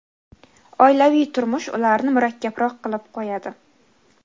oilaviy turmush ularni murakkabroq qilib qo‘yadi.